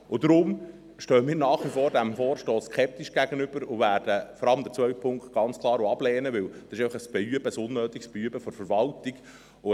Darum stehe ich diesem Vorstoss nach wie vor skeptisch gegenüber, und wir werden vor allem den zweiten Punkt ganz klar ablehnen, weil es ein «Beüben», ein unnötiges «Beüben» der Verwaltung ist.